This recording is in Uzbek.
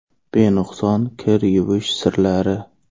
Benuqson kir yuvish sirlari.